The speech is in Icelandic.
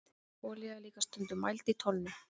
olía er líka stundum mæld í tonnum